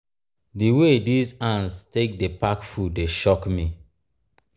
di way dese ants take um dey pack food dey shock me. um